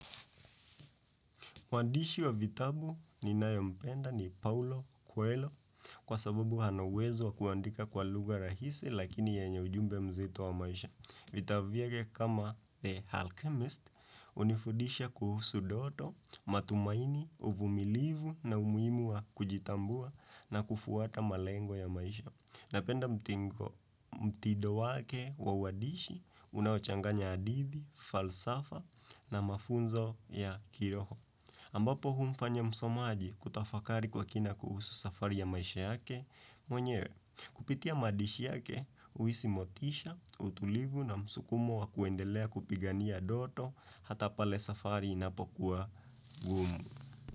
Mwandishi wa vitabu ninayompenda ni Paulo Coelho kwa sababu hana uwezo wa kuandika kwa lugha rahisi lakini yenye ujumbe mzito wa maisha. Vitabu vya kama The Alchemist unifudisha kuhusu doto, matumaini, uvumilivu na umuimu wa kujitambua na kufuata malengo ya maisha. Napenda mtingo mtido wake wa wadishi unaochanganya adidi, falsafa na mafunzo ya kiroho. Ambapo humfanya msomaji kutafakari kwa kina kuhusu safari ya maisha yake, mwenye kupitia madishi yake, uisi motisha, utulivu na msukumo wa kuendelea kupigania doto hata pale safari inapokuwa gumu.